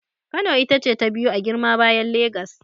Kano ita ce ta biyu a girma bayan Legas.